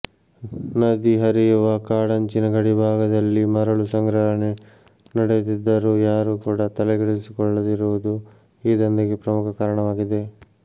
ನದಿ ಹರಿಯುವ ಕಾಡಂಚಿನ ಗಡಿಭಾಗದಲ್ಲಿ ಮರಳು ಸಂಗ್ರಹಣೆ ನಡೆಯುತ್ತಿದ್ದರೂ ಯಾರೂ ಕೂಡ ತಲೆಕೆಡಿಸಿಕೊಳ್ಳದಿರುವುದು ಈ ದಂಧೆಗೆ ಪ್ರಮುಖ ಕಾರಣವಾಗಿದೆ